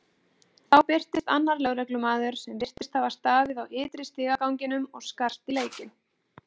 Þá birtist annar lögreglumaður sem virtist hafa staðið á ytri stigaganginum og skarst í leikinn.